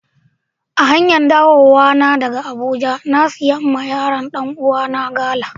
A hanyar dawowa daga Abuja, na siya ma yaran Dan uwa na gala.